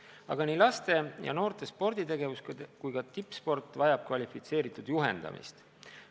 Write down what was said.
Aga nii laste ja noorte sporditegevus kui ka tippsport vajab kvalifitseeritud juhendamist.